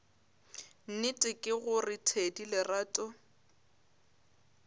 nnete ke gore thedi lerato